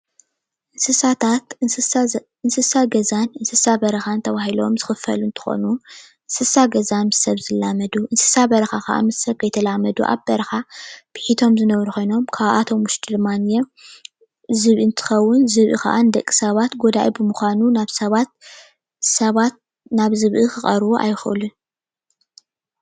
እንስሳታት እንስሳ ገዛን እንስሳ በረካን ተባሂሎም ዝክፈሉ እንትኮኑ እንስሳ ገዛ ምስ ሰብ ዝላመዱ እንስሳ በረካ ከዓ ምስ ሰብ ከይተላመዱ ኣብ በረካ ቢሒቶም ዝነብሩ ኮይኖም ካብኣቶም ውሽጢ ድማ ዝብኢ እንትከውን ዝብኢ ድማ ደቂ ሰባት ጎዳኢ ብምኳኑ ሰባት ናብ ዝብኢ ክቀርቡ ኣይክእሉን፡፡